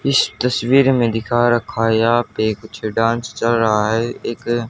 इस तस्वीर में दिखा रखा है यहां पे कुछ डांस चल रहा है एक--